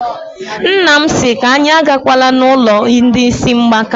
Nna m sị anyị agakwala n'ụlọ ndị ísí mgbaka.